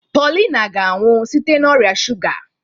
Paulina ga-anwụ site n'ọrịa shuga.